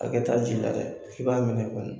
Hakɛ t'a ji la dɛ, f'i b'a minɛn kunun.